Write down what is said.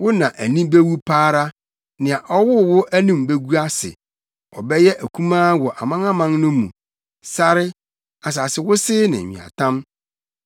wo na ani bewu pa ara; nea ɔwoo wo anim begu ase. Ɔbɛyɛ akumaa wɔ amanaman no mu, sare, asase wosee ne nweatam.